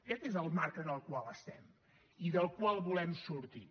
aquest és el marc en el qual estem i del qual volem sortir